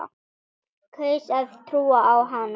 Kaus að trúa á hana.